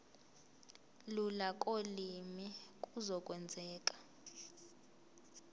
lula kolimi kuzokwenzeka